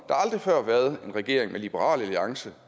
aldrig før været en regering med liberal alliance